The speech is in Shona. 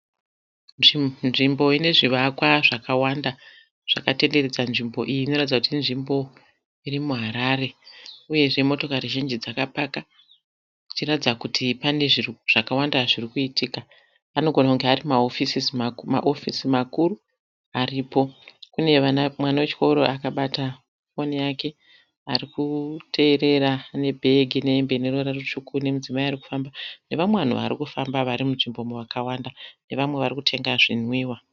Nzvimbo ine zvivakwa zvakawanda zvakatenderedza nzvimbo iyi inoratidza kuti inzvimbo iri muHarare uyezve motokari zhinji dzakapaka zvichiratidza kuti pane zvakawanda zvirikuitika anogona kunge ari mahofisi makuru aripo kune mwana wechikoro akabata foni yake arikuteerera nebhegi nehembe neruvara rutsvuku nemudzimai ari kufamba nevamwe vanhu varikufamba vari munzvimbo umu vakawanda nevamwe vari kutenga zvinwiwa.